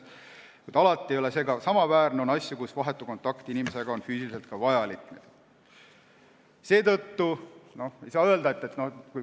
Kuid alati ei ole see kohtuistungiga samaväärne, on asju, kus on vajalik vahetu kontakt inimesega.